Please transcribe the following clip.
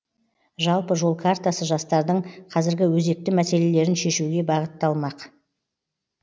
жалпы жол картасы жастардың қазіргі өзекті мәселелерін шешуге бағытталмақ